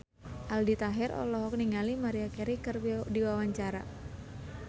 Aldi Taher olohok ningali Maria Carey keur diwawancara